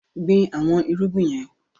Gbìn àwọn irúgbìn yẹn!